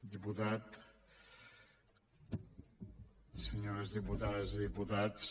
diputat senyores diputades i diputats